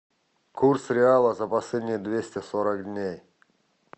курс реала за последние двести сорок дней